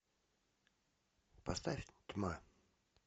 поставь тьма